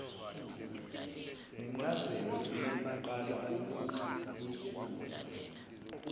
ncazelo iyoqala ukubusa